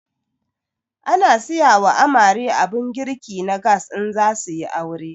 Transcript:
Ana siyawa amare abun girki na gas in zasuyi aure